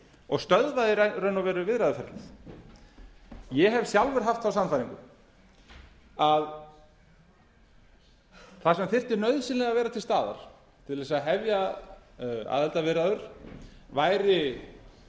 og stöðvað í raun og veru viðræðuferlið ég hef sjálfur haft þá sannfæringu að það sem þyrfti nauðsynlega að vera til staðar til að hefja aðildarviðræður væri